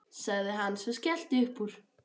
sagði hann svo og skellti upp úr.